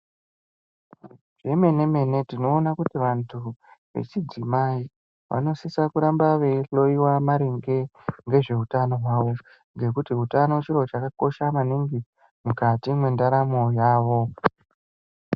Zvemene mene tinoona kuti vantu vechidzimai vanosisa kuramba vei hloiwa maringe ngezve utano hwavo nekuti utano chiro chakakosha maningi mukati mwendaramo yavo.